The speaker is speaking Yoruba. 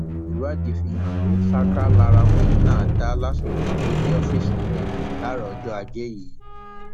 ìwádìí fi hàn pé ṣáká lara ọkùnrin náà dá lásìkò tó dé ọfíìsì rẹ láàárọ ọjọ ajé yìí